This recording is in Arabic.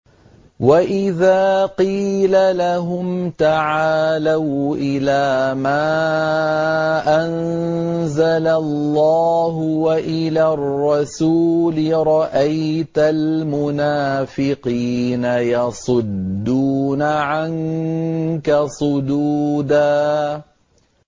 وَإِذَا قِيلَ لَهُمْ تَعَالَوْا إِلَىٰ مَا أَنزَلَ اللَّهُ وَإِلَى الرَّسُولِ رَأَيْتَ الْمُنَافِقِينَ يَصُدُّونَ عَنكَ صُدُودًا